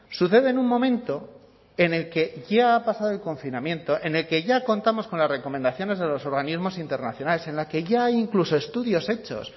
sucede en un momento en el que ya ha pasado el confinamiento en el que ya contamos con las recomendaciones de los organismos internacionales en la que ya hay incluso estudios hechos